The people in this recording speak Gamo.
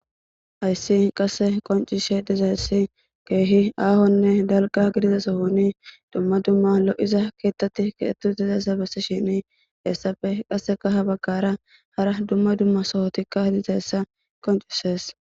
Hayssi qasse qoncishe dizayssi keehi aahonne dalga gidiza sohuni dumma dumma lo7iza keettatti kiettu dizayssa bessishini heessapfe qaseka ha baggara hara dumma dumma sohotikka hidizayssa qoncishes